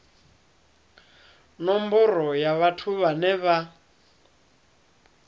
nomboro ya vhathu vhane vha